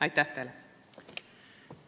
Aitäh teile!